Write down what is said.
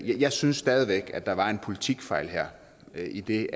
jeg synes stadig væk at der var en politikfejl her idet